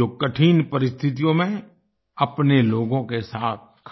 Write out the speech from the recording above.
जो कठिन परिस्थितियों में अपने लोगों के साथ खड़े रहे